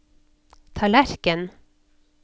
tallerken